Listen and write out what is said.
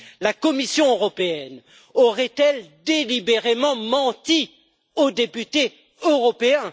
La Commission européenne aurait elle délibérément menti aux députés européens?